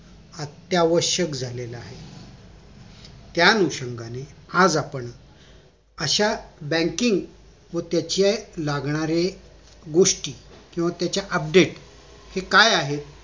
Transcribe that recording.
ते आवश्यक झालेलं आहे त्या अनुषंगाणे आज आपण अश्याच banking व त्याचे लागणारे गोष्टी किंवा त्याचे update काय आहे